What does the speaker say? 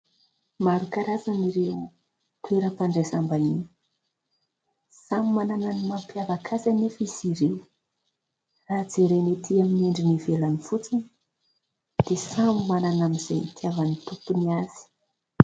Maro karazana ireo toeram-pandraisam-bahiny. Samy manana ny mampiavaka azy anefa izy ireny. Raha jerena etỳ amin'ny endriny ivelany fotsiny dia samy manana an'izay itiavan'ny tompony azy.